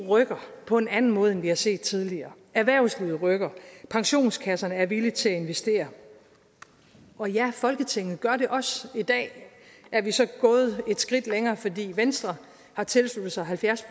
eu rykker på en anden måde end vi har set tidligere erhvervslivet rykker pensionskasserne er villige til at investere og ja folketinget gør det også i dag er vi så gået et skridt længere fordi venstre har tilsluttet sig halvfjerds